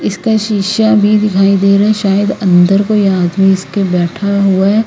इसका शिशा भी दिखाई दे रहा है शायद अंदर कोई आदमी इसके बैठा हुआ--